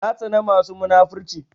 Na tsana masu munafurci